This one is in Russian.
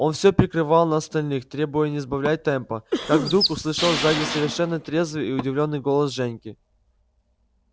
он всё прикривал на остальных требуя не сбавлять темпа как вдруг услышал сзади совершенно трезвый и удивлённый голос женьки